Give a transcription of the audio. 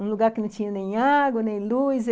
Um lugar que não tinha nem água, nem luz.